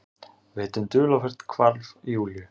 Veit um dularfullt hvarf Júlíu.